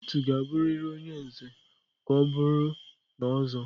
Otu ga-abụrịrị onye Nze ka ọ bụrụ na Ozo.